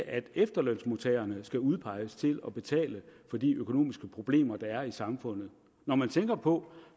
at efterlønsmodtagerne skal udpeges til at betale for de økonomiske problemer der er i samfundet når man tænker på